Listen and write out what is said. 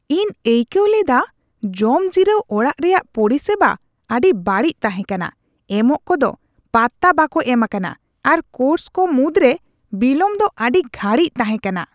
ᱤᱧ ᱟᱹᱭᱠᱟᱹᱣ ᱞᱮᱫᱟ ᱡᱚᱢ ᱡᱤᱨᱟᱹᱣ ᱚᱲᱟᱜ ᱨᱮᱭᱟᱜ ᱯᱚᱨᱤᱥᱮᱵᱟ ᱟᱹᱰᱤ ᱵᱟᱹᱲᱤᱡ ᱛᱟᱦᱮᱸ ᱠᱟᱱᱟ ᱾ ᱮᱢᱚᱜ ᱠᱚᱫᱚ ᱯᱟᱛᱛᱟ ᱵᱟᱠᱚ ᱮᱢ ᱟᱠᱟᱱᱟ ᱟᱨ ᱠᱳᱨᱥ ᱠᱚ ᱢᱩᱫᱽᱨᱮ ᱵᱤᱞᱚᱢ ᱫᱚ ᱟᱹᱰᱤ ᱜᱷᱟᱹᱲᱤᱡ ᱛᱟᱦᱮᱸ ᱠᱟᱱᱟ ᱾